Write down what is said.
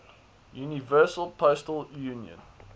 universal postal union